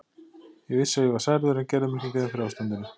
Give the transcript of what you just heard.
Ég vissi að ég var særður en gerði mér ekki grein fyrir ástandinu.